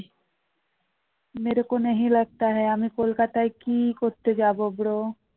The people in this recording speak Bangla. আমি কলকাতায় কি করতে যাবো bro